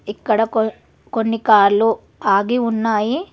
ఇక్కడ కో కొన్ని కార్లు ఆగి ఉన్నాయి.